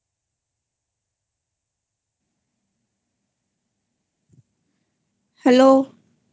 Hello